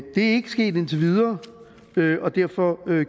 er ikke sket indtil videre og derfor